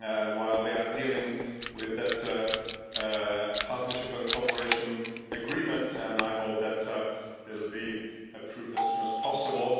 While we are dealing with that partnership and cooperation agreement, I hope that it will be approved as soon as possible.